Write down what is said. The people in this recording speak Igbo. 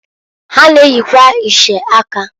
Ha na-eyikwa iche aka.